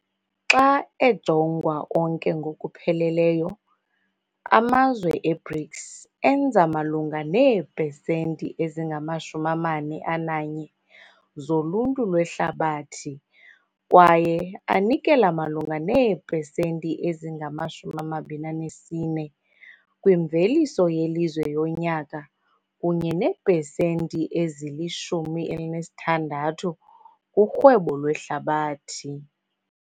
Xa ejongwa onke ngokupheleleyo, amazwe e-BRICS enza malunga neepesenti ezingama-41 zoluntu lwehlabathi kwaye anikela malunga neepesenti ezingama-24 kwimveliso yelizwe yonyaka kunye neepesenti ezili-16 kurhwebo lwehlabathi.